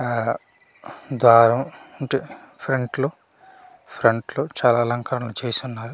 ఆ అహ్ దారం ఇంట్ ఫ్రంట్ లో ఫ్రంట్ లో చాలా అలంకరణ చేసి ఉన్నారు.